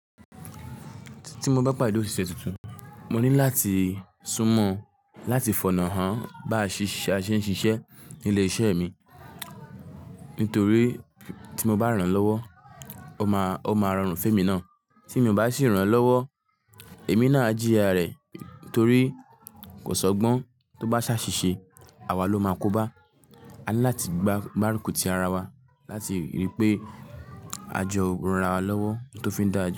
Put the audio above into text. Tí mo bá pàdé òṣìṣẹ́ tuntun, mo ní láti sún mọ́, láti fònà hàn bá ṣíṣe a ṣe ń ṣiṣẹ́ ní ilé-iṣẹ́ mi. Nítorí tí mo bá ràn án lọ́wọ́, ó máa, ó máa rọrùn fún èmi náà. Tí èmi o bá sì ràn án lọ́wọ́, èmi náà á jíya rẹ̀ torí kò ṣọgbọ́n. Tó bá ṣáṣìṣe, àwa ló máa kó bá. A ní láti gba, gbárùkù ti ara wa láti rí pé a jọ ran ara wa lọ́wọ́ tó fi ń dáa ju.